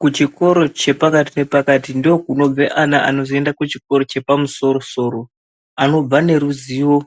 Kuchikoro chepakati nepakati ndokunobve ana anozoende kuchikoro chepamusoro soro anobva neruzivo